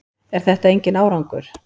Er þetta enginn árangur?